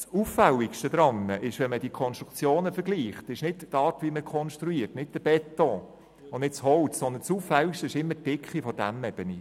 Vergleicht man die Konstruktionen, ist nicht die Art, wie man konstruiert, nicht der Beton und nicht das Holz, das Auffälligste daran, sondern immer die Dicke der Dämmebene.